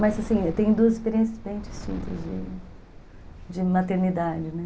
Mas assim, eu tenho duas experiências bem distintas de de maternidade